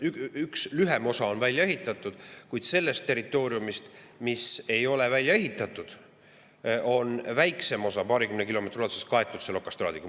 Üks, lühem osa on välja ehitatud, kuid sellest territooriumist, mis ei ole välja ehitatud, on väiksem osa paarikümne kilomeetri ulatuses kaetud okastraadiga.